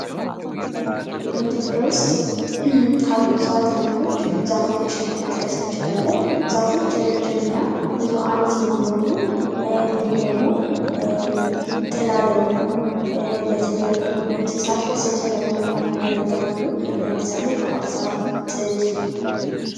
በኢትዮጵያ ውስጥ ካሉ እጽዋት አይነቶች ዛፎችን መጥቀስ እንችላለን። ዛፎች ረጅምና ብዙ አመት የሚኖሩ እንድሁም ደግሞ ጥላ ለመሆን ለተለያዩ እንስሳት መሰብሰቢያ ለመሆን ያገለግላሉ ለምሳሌ ባህርዛፍ ጥድ